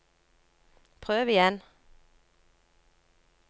prøv igjen